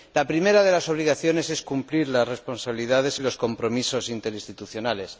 La primera de las obligaciones es cumplir las responsabilidades y los compromisos interinstitucionales.